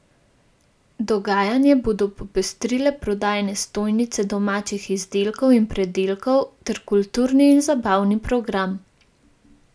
Dogajanje bodo popestrile prodajne stojnice domačih izdelkov in pridelkov ter kulturni in zabavni program.